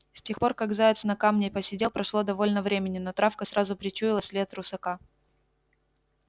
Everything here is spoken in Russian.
с тех пор как заяц на камне посидел прошло довольно времени но травка сразу причуяла след русака